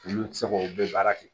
Olu ti se k'o bɛɛ baara kɛ